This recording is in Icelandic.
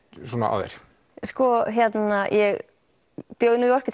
á þér sko ég bjó í New York